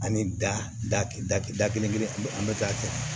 Ani da da kelen kelen an bɛ an bɛ taa kɛ